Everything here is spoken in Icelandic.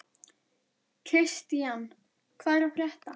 Kristian, hvað er að frétta?